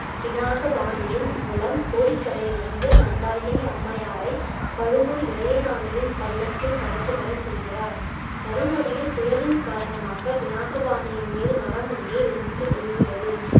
பினாகபாணியின் மூலம் கோடிக்கரையிலிருந்து மந்தாகினி அம்மையாரை பழுவூர் இளையராணியின் பல்லக்கில் கடத்தி வர செய்கிறார். வரும் வழியில் புயலின் காரணமாக பினாகபாணியின் மேல் மரம் ஒன்று விழுந்து விழுகிறது.